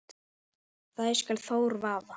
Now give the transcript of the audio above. þær skal Þór vaða